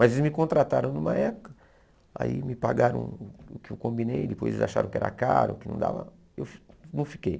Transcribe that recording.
Mas eles me contrataram numa época, aí me pagaram o que eu combinei, depois eles acharam que era caro, que não dava, eu fi não fiquei.